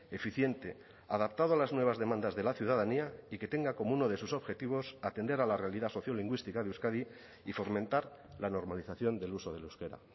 eficiente adaptado a las nuevas demandas de la ciudadanía y que tenga como uno de sus objetivos atender a la realidad sociolingüística de euskadi y fomentar la normalización del uso del euskera